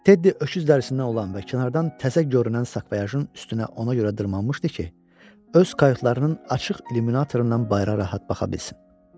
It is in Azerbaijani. Teddy öküz dərisindən olan və kənardan təzə görünən sakvoyajın üstünə ona görə dırmanmışdı ki, öz kayutlarının açıq illyuminatorundan bayıra rahat baxa bilsin.